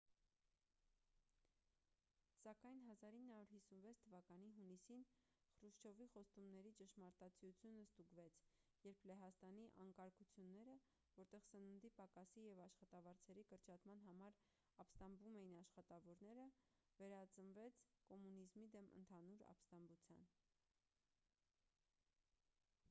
սակայն 1956 թվականի հունիսին խրուշչովի խոստումների ճշմարտացիությունը ստուգվեց երբ լեհաստանի անկարգությունները որտեղ սննդի պակասի և աշխատավարձերի կրճատման համար ապստամբում էին աշխատավորները վերածվեց կոմունիզմի դեմ ընդհանուր ապստամբության